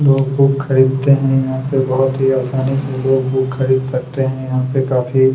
लोग बुक खरीदते है यहाँ पे बहोंत ही आसानी से लोग बुक खरीद सकते है यहाँ पे काफी--